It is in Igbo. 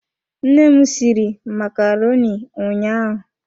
Nne m sịrị macaroni ụnyaahụ.